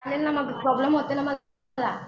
मग प्रॉब्लेम होते ना मला